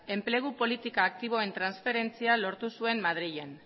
enplegu politikak aktiboen transferentzia lortu zuen madrilen